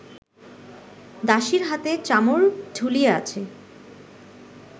দাসীর হাতে চামর ঢুলিয়া আছে